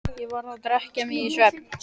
Ég varð að drekka mig í svefn.